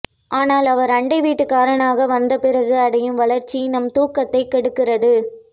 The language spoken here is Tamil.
ஆனால் அவர் அண்டை வீட்டுக்காரனாக வந்த பிறகு அடையும் வளர்ச்சி நம் தூக்கத்தைக் கெடுக்கிறது